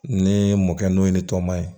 Ne mɔkɛ n'o ye ni tɔman ye